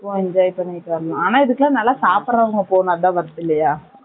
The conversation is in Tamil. போனா enjoy பண்ணிட்டு வரலாம் ஆனா இதுக்குலாம் நல்லா சாப்பிற போனா தான் worth இல்லையா